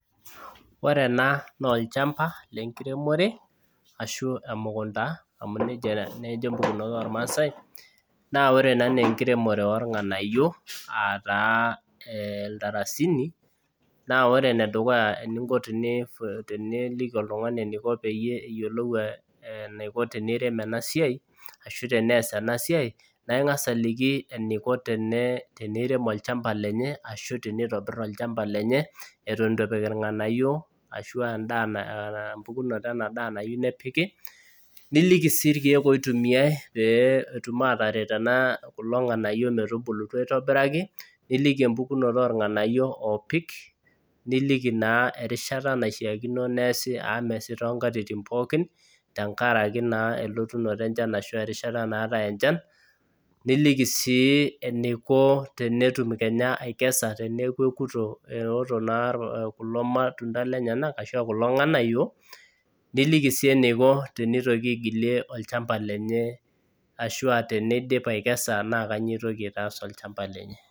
Ore ena naa olchamba lenkiremore ashuu olchamba amu nejia naa ejo irmaasai naa olchamba lornganayio aaata iltarasini naa ore enedukuya teniyieu niliki oltung'ani eneiko teneirem ena siai naa ing'as aliki eneiko teneirem oolchamba lenye eton eitu epik irng'anayio ashuu ena daaa nayieu nepik niliki sii irkiek oitumiyai pee etum aatare kulo ng'anayio metubulutu aitobiraki niliki empukunoto orng'anayio ooopik niliki naa erishata naishiakino. Neesi amu meesi toonkatitin pookin erishata naa naatae enchan niliniki sii eneiko teneeku oto eneiko teneikes kulo matunda lenyenak ashua kulo matunda liniki sii eneiko olchamba lenye ashua teneidim aikesa naa inyoo eitaas olchamba lenye.